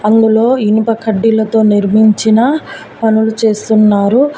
అందులో ఇనుప కడ్డీలతో నిర్మించిన పనులు చేస్తున్నారు